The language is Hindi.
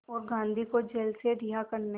और गांधी को जेल से रिहा करने